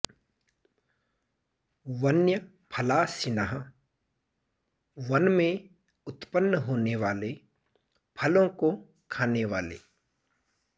बन्यफलाशिनःवन में उत्पन्न होने वाले फलों को खाने वाले